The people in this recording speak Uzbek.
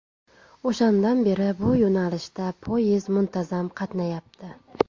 O‘shandan beri bu yo‘nalishda poyezd muntazam qatnayapti.